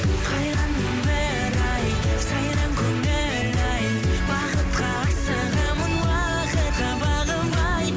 қайран өмір ай сайран көңіл ай бақытқа асығамын уақытқа бағынбай